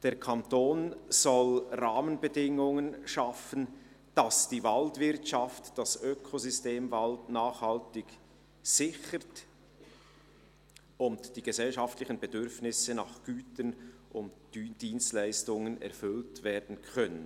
Der Kanton soll «Rahmenbedingungen […] schaffen, dass die Waldwirtschaft das Ökosystem Wald nachhaltig sichern und die gesellschaftlichen Bedürfnisse nach Gütern und Dienstleistungen […] erfüllen kann».